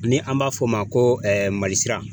Ni an b'a f'o ma ko Mali sira.